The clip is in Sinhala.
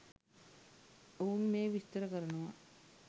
ඔවුන් මෙය විස්තර කරනවා